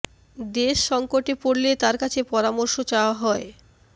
দেশ সঙ্কটে পড়লে তার কাছে পরামর্শ চাওয়া হয়